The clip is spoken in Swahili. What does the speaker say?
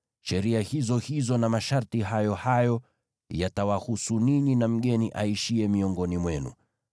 Sheria hizo hizo na masharti hayo hayo hayo, yatawahusu ninyi na mgeni aishiye miongoni mwenu.’ ”